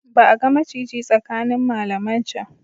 Ba a ga maciji tsakanin malaman can.